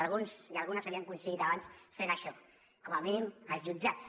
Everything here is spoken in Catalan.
alguns i algunes havíem coincidit abans fent això com a mínim als jutjats